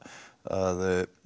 að